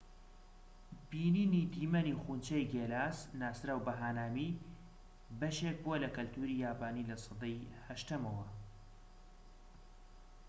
بینینی دیمەنی خونچەی گێلاس ناسراو بە هانامی بەشێك بووە لە کەلتوری یابانی لە سەدەی 8ەمەوە